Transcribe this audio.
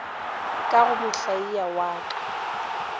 ka go mohlaia wa ka